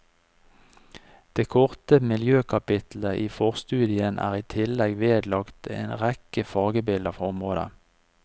Det korte miljøkapittelet i forstudien er i tillegg vedlagt en rekke fargebilder fra området.